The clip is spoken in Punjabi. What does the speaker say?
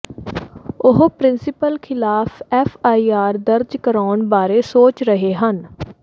ਉਹ ਪ੍ਰਿੰਸੀਪਲ ਖਿਲਾਫ ਐੱਫ ਆਈ ਆਰ ਦਰਜ ਕਰਾਉਣ ਬਾਰੇ ਸੋਚ ਰਹੇ ਹਨ